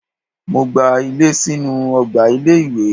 Mo gba ilé sínú ọgbà ilé-ìwé.